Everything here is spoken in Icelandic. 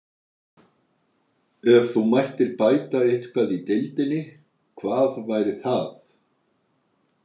Ef þú mættir bæta eitthvað í deildinni, hvað væri það?